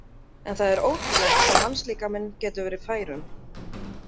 En það er ótrúlegt hvað mannslíkaminn getur verið fær um.